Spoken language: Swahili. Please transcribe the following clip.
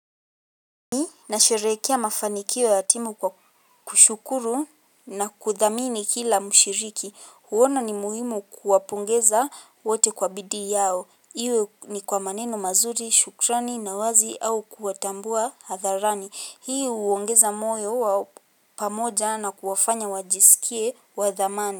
Nasherehekea mafanikio ya timu kwa kushukuru na kuthamini kila mshiriki. Huona ni muhimu kuwapongeza wote kwa bidii yao. Iwe ni kwa maneno mazuri, shukrani, na wazi au kuwatambua hadharani. Hii huongeza moyo wa pamoja na kuwafanya wajisikie wa thamani.